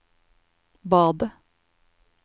badet